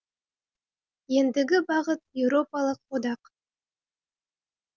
ендігі бағыт еуропалық одақ